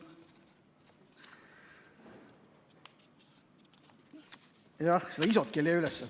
Jah, seda ISO‑t ei leia üles.